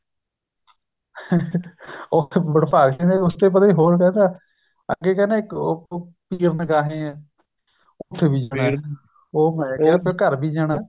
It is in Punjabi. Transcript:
ਵੰਡਭਾਗ ਸਿੰਘ ਦੇ ਹੋਰ ਕਹਿੰਦਾ ਅੱਗੇ ਕਹਿੰਦਾ ਇੱਕ ਪੀਰ ਨਿਗਾਹੇ ਏ ਉਥੇ ਵੀ ਜਾਣਾ ਉਹ ਮੈ ਕਿਆ ਘਰ ਵੀ ਜਾਣਾ